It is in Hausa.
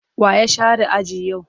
Wa ya share aji yau?